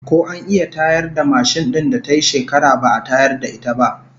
Ko an iya tayar da mashin din da tayi shekara ba'a tayar da ita ba?